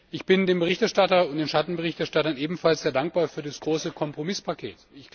Ich bin dem Berichterstatter und den Schattenberichterstattern ebenfalls sehr dankbar für das große Kompromisspaket.